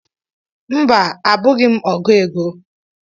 Mba, abụghị m ọgụ égo.